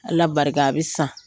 Ala barika a bɛ san.